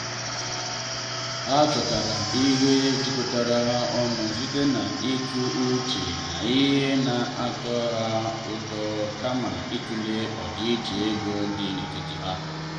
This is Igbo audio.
ha chọtara ihe jikọtara ha ọnụ site n’ịtụ uche na ihe na atọ ha ụtọ kama ịtụle ọdịiche ego dị n’etiti ha.